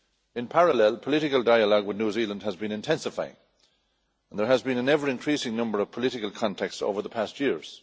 In parallel, political dialogue with New Zealand has been intensifying and there has been an ever increasing number of political contacts over the past years.